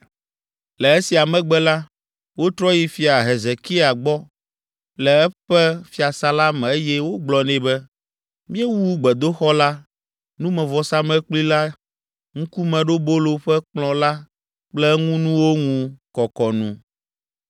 Le esia megbe la, wotrɔ yi Fia Hezekia gbɔ le eƒe fiasã la me eye wogblɔ nɛ be, “Míewu gbedoxɔ la, numevɔsamlekpui la, Ŋkumeɖobolo ƒe kplɔ̃ la kple eŋunuwo ŋu kɔkɔ nu.